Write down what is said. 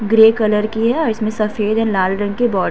Grey colour की है। इसमें सफ़ेद एंड लाल रंग की बा --